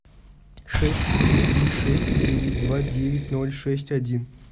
шесть три три шесть девять два девять ноль шесть один